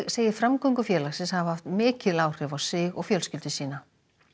segir framgöngu félagsins hafa haft mikil áhrif á sig og fjölskyldu sína